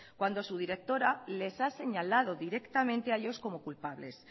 cuando su directora les ha señalado directamente a ellos como culpables